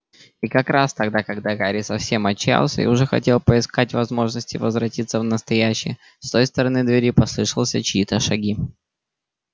и как раз тогда когда гарри совсем отчаялся и уже хотел поискать возможности возвратиться в настоящее с той стороны двери послышался чьи-то шаги